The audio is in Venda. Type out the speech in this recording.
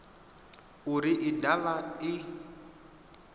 uri i de vha i